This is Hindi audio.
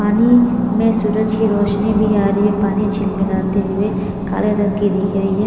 पानी में सूरज की रोशनी भी आ रही है पानी झिल मिलाते हुए काले रंग की दिख रही है।